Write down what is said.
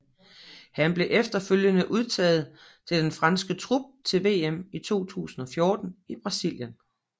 Han blev efterfølgende udtaget til den franske trup til VM i 2014 i Brasilien